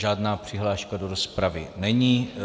Žádná přihláška do rozpravy není.